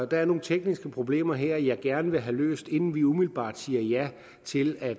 der er nogle tekniske problemer her jeg gerne vil have løst inden vi umiddelbart siger ja til at